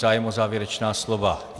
Zájem o závěrečná slova?